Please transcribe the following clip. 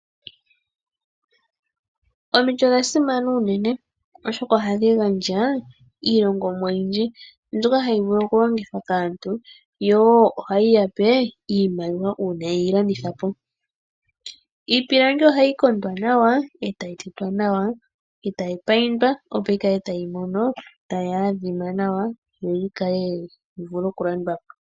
Omiti odha simana uunene oshoka ohadhi gandja iilongomwa oyindji mbyoka hayi vulu oku longithwa kaantu yo ohayi ya pe iimaliwa uuna ye yi landitha po. Iipilangi ohayi kondwa nawa, etayi tetwa nawa, etayi payindwa opo yi kale tayi adhima nawa yo yi vule oku landwa po.